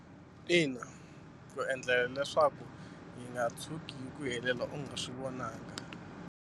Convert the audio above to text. Ina ku endlela leswaku yi nga tshuki hi ku helela u nga swi vonangi.